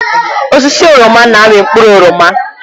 Osisi oroma na-amị mkpụrụ oroma.